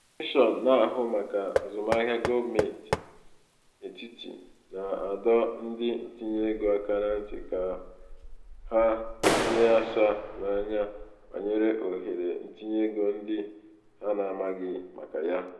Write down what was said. kọmishọn na-ahụ maka azụmahịa gọọmentị etiti na-adọ ndị ntinyeego aka na ntị ka hie asaa n'anya banyere ohere ntinyeego ndị ha na-amaghị maka ya.